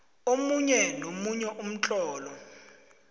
omunye nomunye umtlolo